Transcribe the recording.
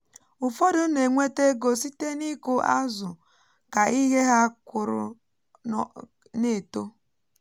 ụfọdụ na-enweta ego site n’ịkụ azụ ka ihe ha kụrụ na-eto